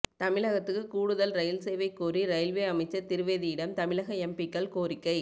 தமிழகத்துக்கு கூடுதல் ரயில் சேவை கோரி ரயில்வே அமைச்சர் திரிவேதியிடம் தமிழக எம்பிக்கள் கோரிக்கை